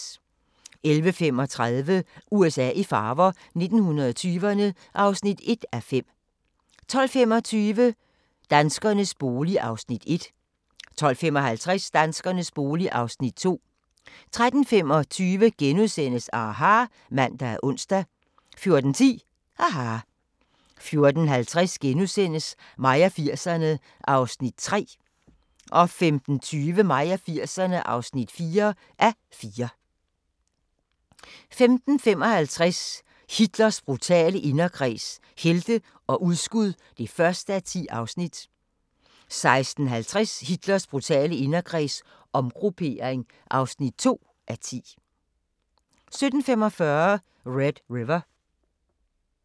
11:35: USA i farver – 1920'erne (1:5) 12:25: Danskernes bolig (Afs. 1) 12:55: Danskernes bolig (Afs. 2) 13:25: aHA! *(man og ons) 14:10: aHA! 14:50: Mig og 80'erne (3:4)* 15:20: Mig og 80'erne (4:4) 15:55: Hitlers brutale inderkreds – helte og udskud (1:10) 16:50: Hitlers brutale inderkreds – omgruppering (2:10) 17:45: Red River